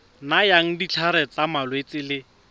nayang ditlhare tsa malwetse le